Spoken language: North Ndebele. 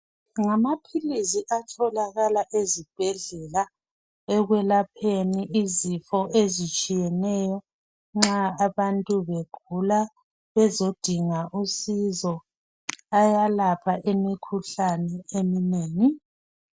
Ngamaphilizi atholakala eZibhedlela ekwelapheni izifo ezitshiyeneyo, nxa abantu begula bezodinga usizo. Ayalapha imikhuhlane eminengi.